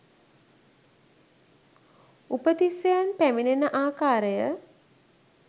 උපතිස්සයන් පැමිණෙන ආකාරය